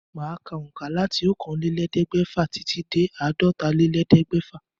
Màá ka òǹkà láti okòóélẹ́ẹ̀ẹ́dẹ́gbẹ́fà titi dé àádọ́tálélẹ́ẹ̀ẹ́dẹ́gbẹ́fà